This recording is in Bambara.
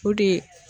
O de